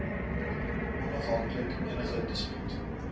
onafhanklik enige dispuut